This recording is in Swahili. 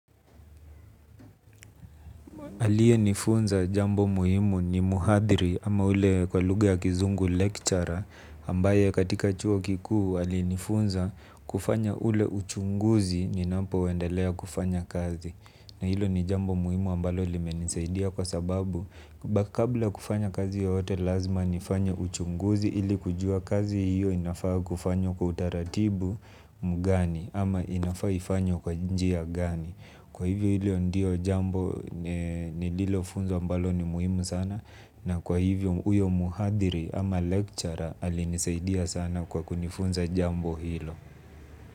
Aliyenifunza jambo muhimu ni mhadhiri, ama ule kwa lugha ya kizungu lecturer ambaye katika chuo kikuu alinifunza kufanya ule uchunguzi ninapoendelea kufanya kazi na hilo ni jambo muhimu ambalo limenisaidia kwa sababu kabla ya kufanya kazi ya yoyote lazima nifanye uchunguzi ili kujua kazi hiyo inafaa kufanywa kwa utaratibu mgani ama inafaa ifanywe kwa njia gani. Kwa hivyo hilo ndio jambo nililofunzwa ambalo ni muhimu sana na kwa hivyo huyo mhadhiri ama lecturer alinisaidia sana kwa kunifunza jambo hilo.